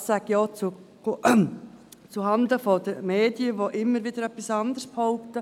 Das sage ich auch zuhanden der Medien, die immer wieder etwas anderes behaupten.